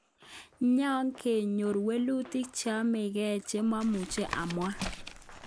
Ngakeyoru mwelutik cheapenge che mamuche amwang.